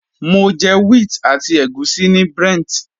Mo jẹ wheat àti ègúsí ní Brent.